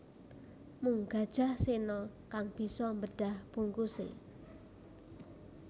Mung Gajah Sena kang bisa mbedah bungkuse